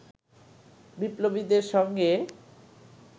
বিপ্লবীদের সঙ্গে